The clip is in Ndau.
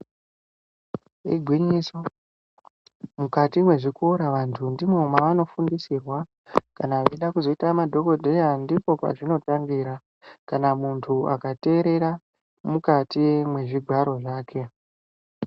Igwinyiso mukati nezvikora vantu ndimo mwavanofundisirwa kana vachida kuzoita madhogodheya ndipo pazvinotangira, kana muntu akaterera mukati mwezvigwaro zvake.